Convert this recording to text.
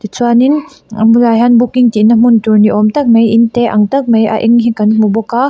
chuanin an bulah hian booking tih na hmun tur ni awm tak mai in te ang tak mai a eng hi kan hmu bawk a--